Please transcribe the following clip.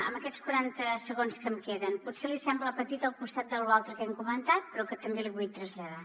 en aquests quaranta segons que em queden potser li sembla petit al costat de lo altre que hem comentat però que també li vull traslladar